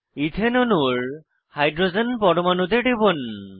ethane অণুর hydrogen পরমাণুতে টিপুন